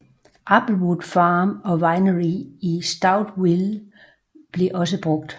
Applewood Farm and Winery i Stouffville blev også brugt